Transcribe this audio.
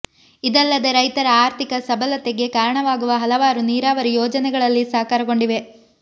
ಇದಲ್ಲದೆ ರೈತರ ಆರ್ಥಿಕ ಸಭಲತೆಗೆ ಕಾರಣವಾಗುವ ಹಲವಾರು ನೀರಾವರಿ ಯೋಜನೆಗಳಲ್ಲಿ ಸಾಕಾರಗೊಂಡಿವೆ